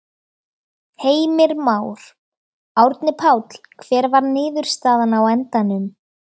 Heimir Már: Árni Páll, hver var niðurstaðan á endanum?